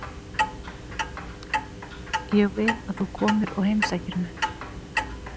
Ég vil að þú komir og heimsækir mig.